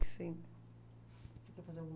que sim. Você quer fazer alguma